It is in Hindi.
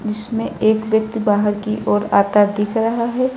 इसमें एक व्यक्ति बाहर की ओर आता दिख रहा है।